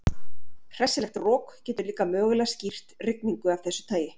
Hressilegt rok getur líka mögulega skýrt rigningu af þessu tagi.